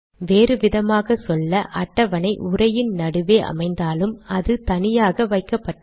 வேறு விதமாக சொல்ல அட்டவணை உரையின் நடுவே அமைந்தாலும் அது தனியாக வைக்கப்பட்டது